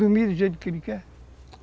Dormir do jeito que ele quer.